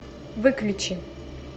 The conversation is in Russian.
выключи